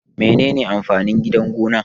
Menene amfanin Gidan gona?